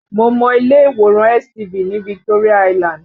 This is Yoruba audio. Mo mọ ilé ìwòran STV ní Victoria Island